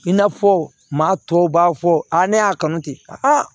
I n'a fɔ maa tɔw b'a fɔ a ne y'a kanu ten